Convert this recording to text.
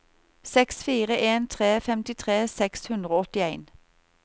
seks fire en tre femtitre seks hundre og åttien